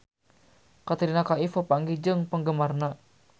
Katrina Kaif papanggih jeung penggemarna